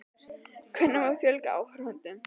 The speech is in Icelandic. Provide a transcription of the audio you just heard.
Hvernig má fjölga áhorfendum?